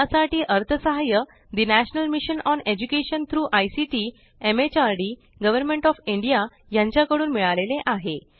यासाठी अर्थसहाय्य the national mission on education through ICT MHRD government of India कडून मिळाले आहे